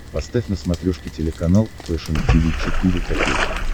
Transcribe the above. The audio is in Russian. поставь на смотрешке телеканал фэшн ти ви четыре ка